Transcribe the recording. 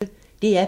DR P1